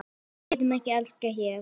Við getum ekki elskast hér.